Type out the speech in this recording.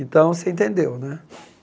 Então, você entendeu, né?